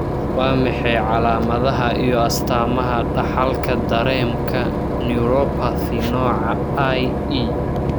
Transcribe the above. Waa maxay calaamadaha iyo astamaha Dhaxalka Dareemka neuropathy nooca IE?